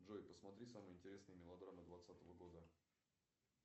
джой посмотри самые интересные мелодрамы двадцатого года